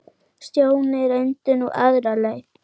Stjáni reyndi nú aðra leið.